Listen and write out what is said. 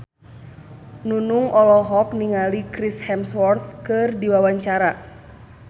Nunung olohok ningali Chris Hemsworth keur diwawancara